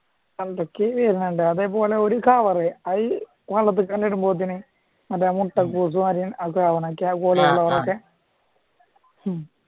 പണ്ടൊക്ക അതെ മുട്ടകൂസും അരിയണ് കോളിഫ്ലവർ ഒക്കെ ഉം